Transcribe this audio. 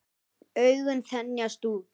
Augun þenjast út.